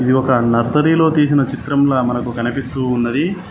ఇది ఒక నర్సరీ లో తీసిన చిత్రంలా మనకు కనిపిస్తూ ఉన్నది.